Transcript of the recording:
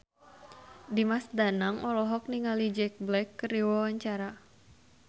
Dimas Danang olohok ningali Jack Black keur diwawancara